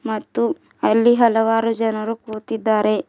ಮತ್ತು ಅಲ್ಲಿ ಹಲವಾರು ಜನರು ಕೂತಿದ್ದಾರೆ.